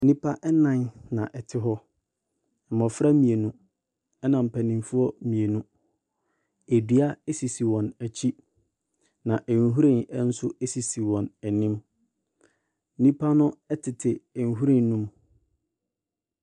Nnipa ɛnnan na ɛte hɔ. Mmofra mmienu, ɛna mpanyinfoɔ mmienu. Adua esisi wɔn akyi. Na nhwiren so esisi wɔn anim. Nnipa ɛtete nhwiren no mu.